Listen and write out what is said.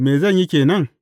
Me zan yi ke nan?’